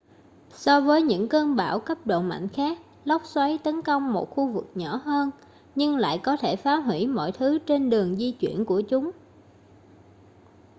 so với những cơn bão cấp độ mạnh khác lốc xoáy tấn công một khu vực nhỏ hơn nhưng lại có thể phá huỷ mọi thứ trên đường di chuyển của chúng